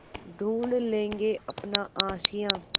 ढूँढ लेंगे अपना आशियाँ